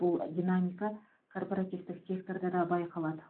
бұл динамика корпоративтік секторда да байқалады